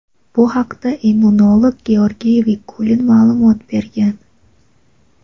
Bu haqda immunolog Georgiy Vikulov ma’lumot bergan.